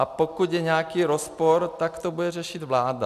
A pokud je nějaký rozpor, tak to bude řešit vláda.